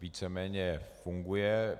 Víceméně funguje.